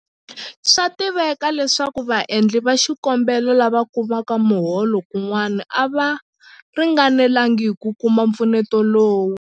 Swa tiveka leswaku vaendli va xikombelo lava kumaka miholo kun'wana a va ringanelanga hi ku kuma mpfuneto lowu.